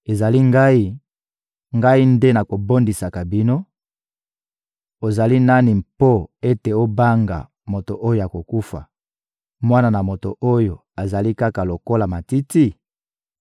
«Ezali Ngai, Ngai nde nabondisaka bino. Ozali nani mpo ete obanga moto oyo akokufa, mwana na moto oyo azali kaka lokola matiti?